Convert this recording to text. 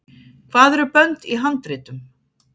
hvað eru bönd í handritum